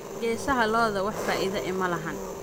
Geesaha lo'odha wax faida eh malaxan.